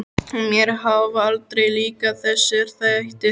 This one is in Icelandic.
Mér hafa aldrei líkað þessir þættir.